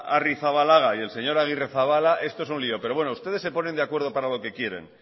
arrizabalaga y el señor agirrezabala esto es un lío pero bueno ustedes se ponen de acuerdo para lo que quieren